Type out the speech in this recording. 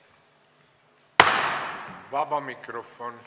Vaba mikrofon.